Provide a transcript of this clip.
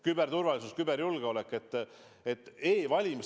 Küberturvalisus, küberjulgeolek on oluline.